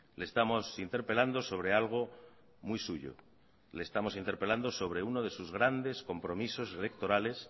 le estamos interpelando sobre algo muy suyo le estamos interpelando sobre uno de sus grandes compromisos electorales